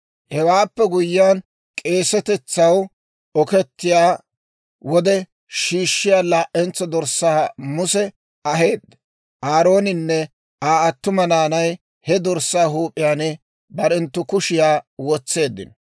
Hewaappe guyyiyaan, k'eesetetsaw okettiyaa wode shiishshiyaa laa'entso dorssaa Muse aheedda; Aarooninne Aa attuma naanay he dorssaa huup'iyaan barenttu kushiyaa wotseeddino.